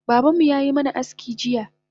Babanmu yayi mana aski jiya